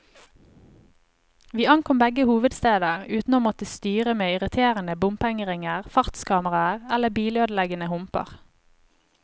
Vi ankom begge hovedsteder uten å måtte styre med irriterende bompengeringer, fartskameraer eller bilødeleggende humper.